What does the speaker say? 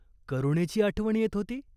करुणेची आठवण येत होती ?